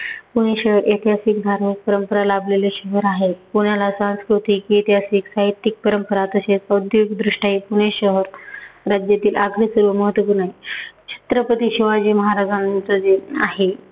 पुणे शहर ऐतिहासिक, धार्मिक परंपरा लाभलेले शहर आहे. पुण्याला सांस्कृतिक, ऐतिहासिक, साहित्यिक परंपरा तशेच औद्योगीक दृष्ट्या हे पुणे शहर राज्यातील सर्वात महत्त्वपूर्ण आहे. छत्रपती शिवाजी महाराजांचं जे आहे